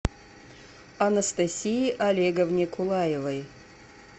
анастасии олеговне кулаевой